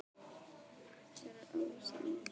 Mér er alveg sama um það.